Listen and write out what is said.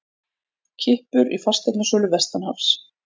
Kippur í fasteignasölu vestanhafs